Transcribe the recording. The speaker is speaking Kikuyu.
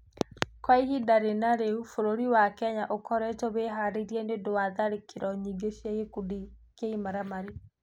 Kwa ivinda rĩna rĩu, bũrũri wa Kenya ũkoretwo wĩhaarĩirie nĩ ũndũ wa tharĩkĩro nyingĩ cia gĩkundi kĩa imaramari.